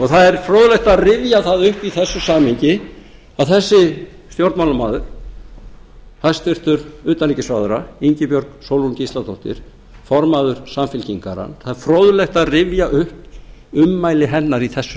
það er fróðlegt að rifja það upp í þessu samhengi að þessi stjórnmálamaður hæstvirts utanríkisráðherra ingibjörg sólrún gísladóttir formaður samfylkingarinnar það er fróðlegt að rifja upp ummæli hennar í þessu